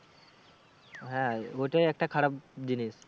হ্যাঁ ওটাই একটা খারাপ জিনিস।